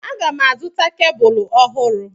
Aga m azụta kebụl ọhụrụ.